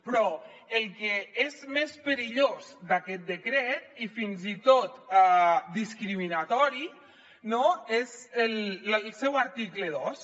però el que és més perillós d’aquest decret i fins i tot discriminatori és el seu article dos